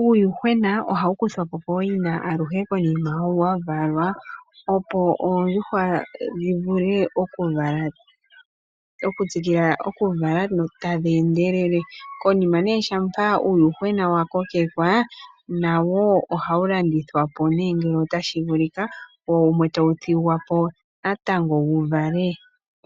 Uuwuhwena ohawukuthapo poyina aluhe konima wavalwa opo oondjuhwa dhivule okutsikila okuvala tadhendelele, konima ne shapa uuwuhwena wakokekwa nawo ohawu landithwapo ne ngele otashi vulika wo wumwe tawuthingwapo natango wuvale